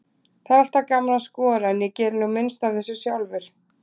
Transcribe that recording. Það er alltaf gaman að skora, en ég geri nú minnst af þessu sjálfur.